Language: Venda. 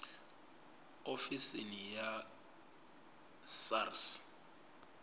ofisini ya tsini ya sars